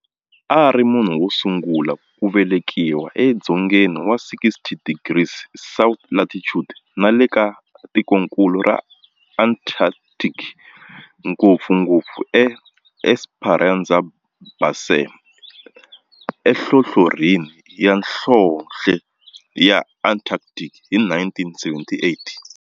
A ri munhu wo sungula ku velekiwa e dzongeni wa 60 degrees south latitude nale ka tikonkulu ra Antarctic, ngopfungopfu e Esperanza Base enhlohlorhini ya nhlonhle ya Antarctic hi 1978.